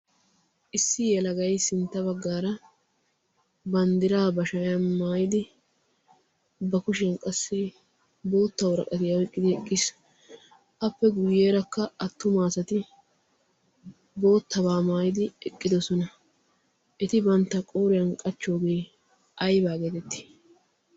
issi yalagay sintta baggaara banddiraa ba shayan maayidi ba kushiyan qassi bootta woraqatiyaa eqqidi eqqiis appe guyyeerakka attumaasati boottabaa maayidi eqqidosona eti bantta qooriyan qachchoogee aybaa geetetti